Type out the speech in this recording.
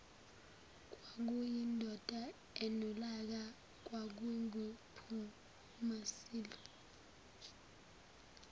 kwakuyindoda enolaka kwakunguphumasilwe